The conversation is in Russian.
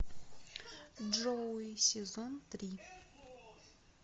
джоуи сезон три